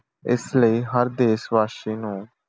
ਇਸ ਲਈ ਹਰ ਦੇਸ਼ਵਾਸੀ ਨੂੰ